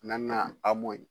Naaninan amo ye